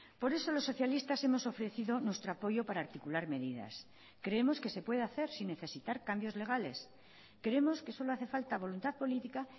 por eso los socialistas hemos ofrecido nuestro apoyo para articular medidas creemos que se puede hacer sin necesitar cambios legales creemos que solo hace falta voluntad política